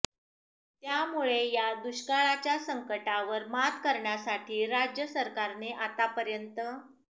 त्यामुळे या दुष्काळाच्या संकटावर मात करण्यासाठी राज्य सरकारने आतापर्यंत